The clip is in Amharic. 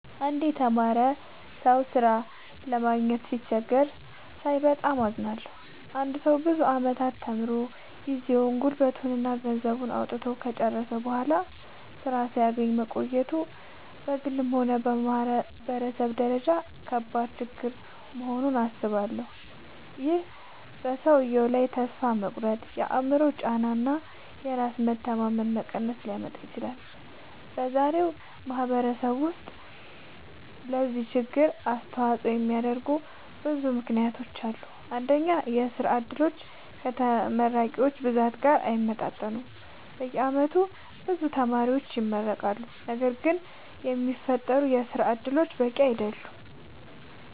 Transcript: አንድ የተማረ ሰው ሥራ ለማግኘት ሲቸገር ሳይ በጣም አዝናለሁ። አንድ ሰው ብዙ ዓመታት ተምሮ፣ ጊዜውን፣ ጉልበቱን እና ገንዘቡን አውጥቶ ከጨረሰ በኋላ ሥራ ሳያገኝ መቆየቱ በግልም ሆነ በማህበረሰብ ደረጃ ከባድ ችግር መሆኑን አስባለሁ። ይህ በሰውየው ላይ ተስፋ መቁረጥ፣ የአእምሮ ጫና እና የራስ መተማመን መቀነስ ሊያመጣ ይችላል። በዛሬው ማህበረሰብ ውስጥ ለዚህ ችግር አስተዋጽኦ የሚያደርጉ ብዙ ምክንያቶች አሉ። አንደኛ፣ የሥራ ዕድሎች ከተመራቂዎች ብዛት ጋር አይመጣጠኑም። በየዓመቱ ብዙ ተማሪዎች ይመረቃሉ፣ ነገር ግን የሚፈጠሩ የሥራ እድሎች በቂ አይደሉም።